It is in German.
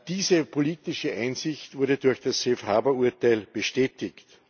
Diese politische Einsicht wurde durch das Safe Harbor Urteil bestätigt.